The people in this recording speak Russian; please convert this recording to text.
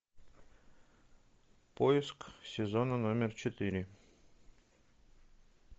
поиск сезона номер четыре